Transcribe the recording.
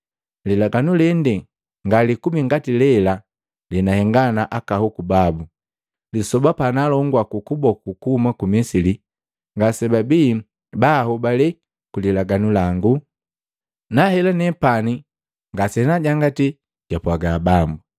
Lilaganu lende ngalikubi ngati lela lenahenga na aka hoku babu, lisoba pa naalongua ku kuboku kuhuma ku Misili. Ngase babii ba ahobale ku lilaganu lango; nahela nepani ngase naajangati, jupwaga Bambu.